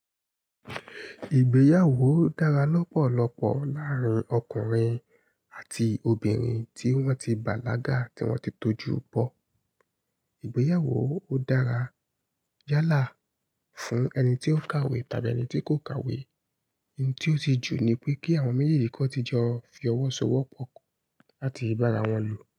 Ìgbéyàwó dára lọ́pọ̀lọpọ̀ láàárín ọkùnrin àti obìnrin tí wọ́n ti bàlágà tí wọ́n ti tọjú bọ̀. Ìgbéyàwó ó dára yálà fún ẹni tí ó kàwé tàbí ẹni tí kò kàwé. Ohun tí ó ti jù ni pé kí àwọn méjèèjì kọ́ ti jẹ fi ọwọ́ so ọwọ́ pọ̀ làti ibara wọ́n lò.